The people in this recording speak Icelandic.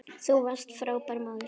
Þú varst frábær móðir.